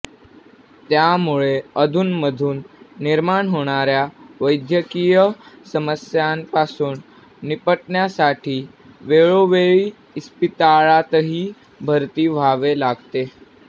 त्यामुळे अधुनमधून निर्माण होणाऱ्या वैद्यकीय समस्यांपासून निपटण्यासाठी वेळोवेळी इस्पितळातही भरती व्हावे लागते